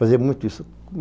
Fazia muito isso.